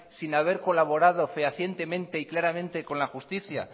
sin haber colaborado fehacientemente y claramente con la justicia